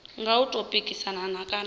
nga u tou pikisana kana